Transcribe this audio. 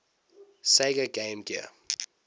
sega game gear